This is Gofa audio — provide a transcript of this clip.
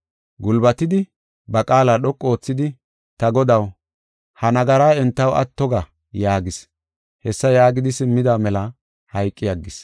Gulbatidi, ba qaala dhoqu oothidi, “Ta Godaw, ha nagaraa entaw atto ga” yaagis. Hessa yaagidi simmida mela hayqi aggis.